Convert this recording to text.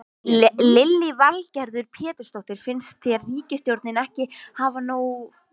Lillý Valgerður Pétursdóttir: Finnst þér ríkisstjórnin ekki hafa gert nóg?